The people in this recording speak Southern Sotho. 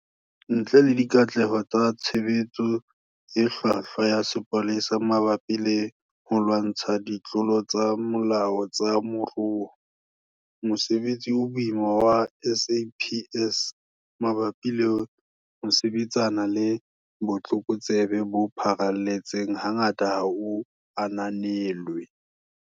Ntle le dikatleho tsa tshebetso e hlwahlwa ya sepolesa mabapi le ho lwantsha ditlolo tsa molao tsa moruo, mosebetsi o boima wa SAPS mabapi le ho sebetsana le botlokotsebe bo pharalletseng hangata ha o ananelwe.